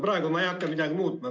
Praegu ma ei hakka midagi muutma.